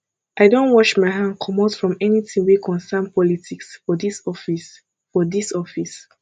i don wash my hand comot from anytin wey concern politics for dis office for dis office